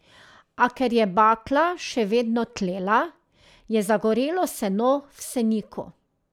A ker je bakla še vedno tlela, je zagorelo seno v seniku.